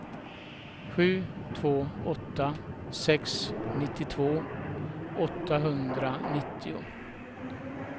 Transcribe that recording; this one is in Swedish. sju två åtta sex nittiotvå åttahundranittio